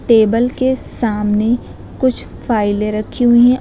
Table के सामने कुछ फाइलें रखी हुई हैं।